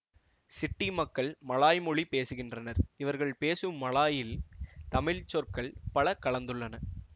city மக்கள் Malay மொழி பேசுகின்றனர் இவர்கள் பேசும் மலாயில் தமிழ் சொற்கள் பல கலந்துள்ளன